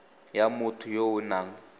ya motho yo o nang